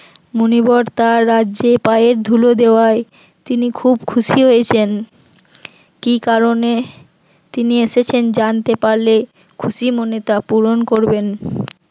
মুনিবর তার রাজ্যে পায়ের ধুলো দেওয়ায় তিনি খুব খুশি হয়েছেন, কি কারণে তিনি এসেছেন জানতে পারলে খুশি মনে তা পূরণ করবেন